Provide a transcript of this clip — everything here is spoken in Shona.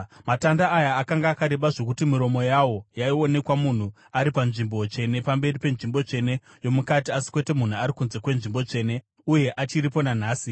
Matanda aya akanga akareba zvokuti miromo yawo yaionekwa munhu ari paNzvimbo Tsvene pamberi penzvimbo tsvene yomukati, asi kwete munhu ari kunze kweNzvimbo Tsvene; uye achiripo nanhasi.